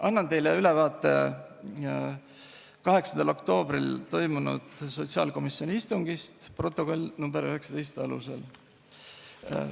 Annan teile ülevaate 8. oktoobril toimunud sotsiaalkomisjoni istungist protokolli nr 19 alusel.